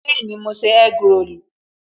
Bẹẹni, ma ṣe egg rolu